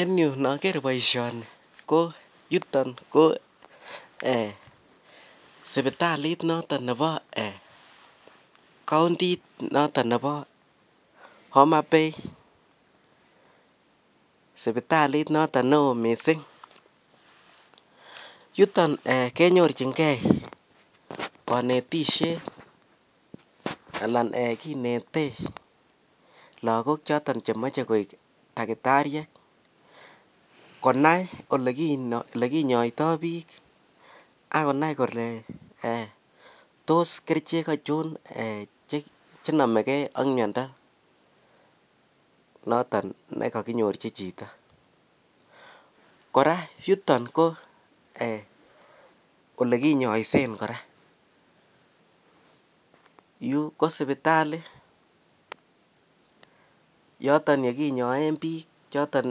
en yu nogeer boishoni ko yuton ko eeh sipitaliit noton nebo kaontiit noton nebo Homabay, sipitaliit noton neoo mising, yujton kenyorchingee konetisyeet alan eeh kinete lagook choton chemoche koek takitariek, konai elekinyoitoo biik ak konai kole toos kerichek achon chenomegee ak myondo noton negakinyorchi chito, kora yuton ko elekinyoisen kora, yuu ko sipitali yoton yeginyoen biik choton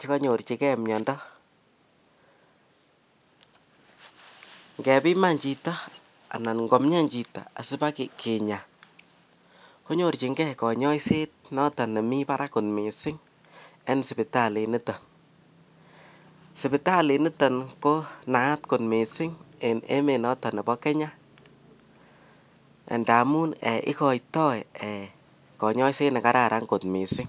cheganyorchigee myondo, ngebiman chiton anan komyaan chito asibakinya konyorchingee konyoiseet notn nemii baraak mising en sipitaliit noton, sipitaliit noton ko naat mising en emet noton nebo kenya ndamuun igoitoo eeh konyoiset negaraan kot mising.